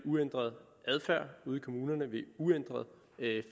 uændret adfærd ved en uændret